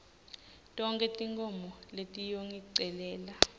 tonkhe tinkhomo letiyongicelela